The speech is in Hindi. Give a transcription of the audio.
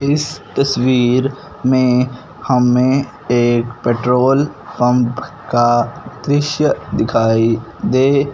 इस तस्वीर में हमें एक पेट्रोल पंप का दृश्य दिखाई दे--